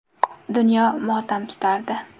Dunyo motam tutardi.